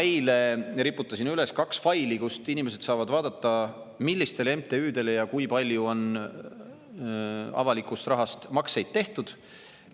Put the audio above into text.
Eile ma riputasin üles kaks faili, kust inimesed saavad vaadata, millistele MTÜ-dele ja kui palju on avalikust rahast makseid tehtud.